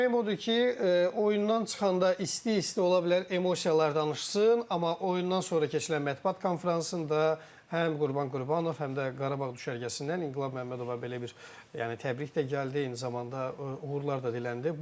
Yəni deməyim odur ki, oyundan çıxanda isti-isti ola bilər emosiyalar danışsın, amma oyundan sonra keçirilən mətbuat konfransında həm Qurban Qurbanov, həm də Qarabağ düşərgəsindən İnqilab Məmmədova belə bir yəni təbrik də gəldi, eyni zamanda uğurlar da diləndi.